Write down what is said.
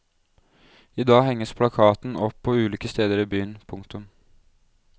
I dag henges plakaten opp på ulike steder i byen. punktum